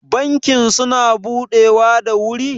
bankin suna budewa da wuri?